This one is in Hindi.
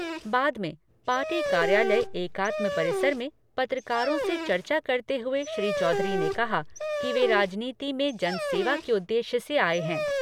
बाद में पार्टी कार्यालय एकात्म परिसर में पत्रकारों से चर्चा करते हुए श्री चौधरी ने कहा कि वे राजनीति में जन सेवा के उद्देश्य से आए हैं।